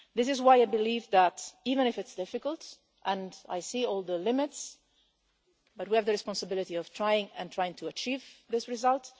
This is why I believe that, even if it's difficult and I see all the limitations we have the responsibility to try to achieve this result.